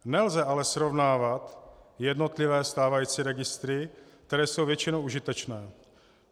Nelze ale srovnávat jednotlivé stávající registry, které jsou většinou užitečné.